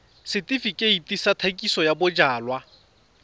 setefikeiti sa thekisontle ya bojalwa